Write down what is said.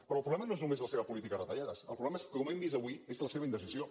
però el problema no és només la seva política de retallades el problema és com hem vist avui la seva indecisió